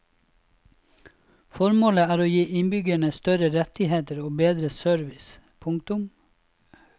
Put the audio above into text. Formålet er å gi innbyggerne større rettigheter og bedre service. punktum